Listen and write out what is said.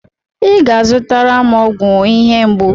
Ị ga-azụtara m ọgwụ ihe mgbu.